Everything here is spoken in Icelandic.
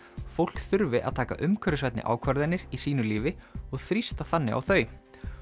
fólk þurfi að taka umhverfisvænni ákvarðanir í sínu lífi og þrýsta þannig á þau